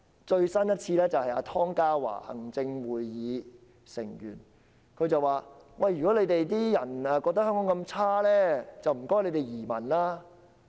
最新的說法來自行政會議成員湯家驊，他說如果大家認為香港那麼糟糕便請移民。